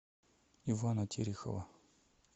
ивана терехова